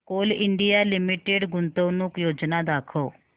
Coal India limited गुंतवणूक योजना दाखव